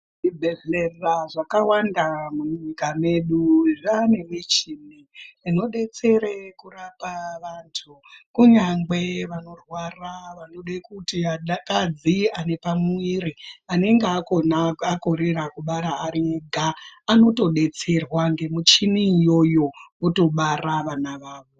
Zvibhedhlera zvakawanda munyika medu zvaane michini inodetsere kurapa vantu kunyangwe vanorwara vanode kuti vanakadzi anepamuviri anenge akorera kubara ariega anotodetserwa ngemuchini iyoyo otobara vana vavo.